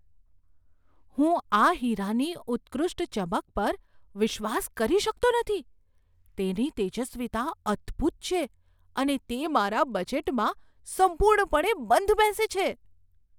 હું આ હીરાની ઉત્કૃષ્ટ ચમક પર વિશ્વાસ કરી શકતો નથી! તેની તેજસ્વીતા અદ્ભૂત છે, અને તે મારા બજેટમાં સંપૂર્ણપણે બંધબેસે છે.